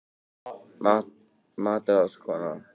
MATRÁÐSKONA: Þú segir ekki!